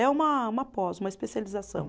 É uma uma pós, uma especialização.